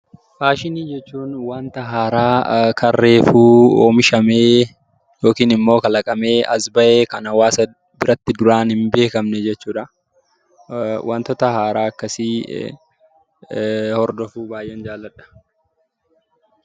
Faashinii jechuun waanta haaraa kan reefuu oomishamee yookiin immoo kalaqamee as ba'e, kan hawaasa biratti duraan hin beekamne jechuudha. Waantota haaraa akkasii hordofuu baay'een jaaladha.